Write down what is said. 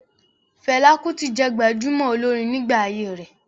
Fẹlá Kútì jẹ́ gbajúmọ̀ olórin nígbà ayé rẹ̀.